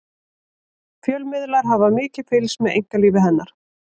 fjölmiðlar hafa mikið fylgst með einkalífi hennar